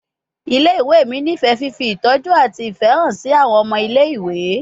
Ile-iwe mi nifẹ fifi itọju ati ifẹ han si awọn ọmọ ile-iwe